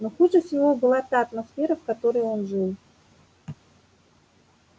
но хуже всего была та атмосфера в которой он жил